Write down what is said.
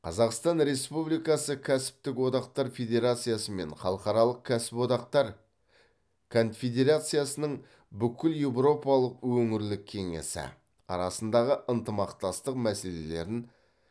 қазақстан республикасы кәсіптік одақтар федерациясы мен халықаралық кәсіподақтар конфедерациясының бүкілеуропалық өңірлік кеңесі арасындағы ынтымақтастық мәселелерін